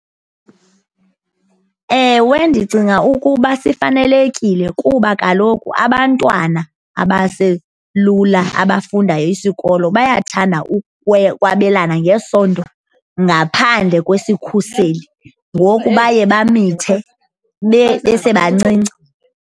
Ewe, ndicinga ukuba sifanelekile kuba kaloku abantwana abaselula abafunda isikolo bayathanda ukwabelana ngesondo ngaphandle kwesikhuseli. Ngoku baye bamithe besebancinci.